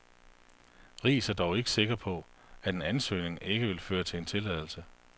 Riis er dog ikke sikker på, at en ansøgning ikke vil føre til en tilladelse.